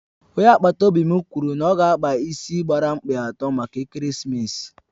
Onye agbata obi m kwụrụ na ọ ga-akpa ịsị gbara mkpị atọ maka ekeresimesi